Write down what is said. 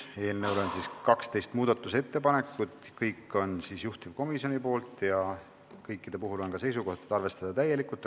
Eelnõu muutmiseks on 12 ettepanekut, kõik on juhtivkomisjoni esitatud ja kõikide puhul on võetud seisukoht arvestada neid täielikult.